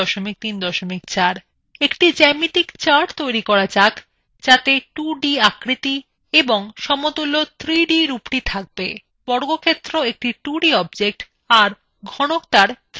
একটি geometry chart তৈরী করা যাক যাতে 2d আকৃতি এবং সমতুল্য 3d রূপটি থাকবে